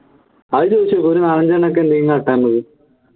അത് ചോദിച്ചോക്ക് ഒരു നാലഞ്ച്എണ്ണം ഒക്കെ ഉണ്ടെങ്കിൽ